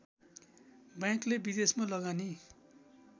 बैंकले विदेशमा लगानी